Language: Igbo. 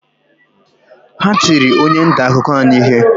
Ha tiri onye nta akụkọ anyị ihe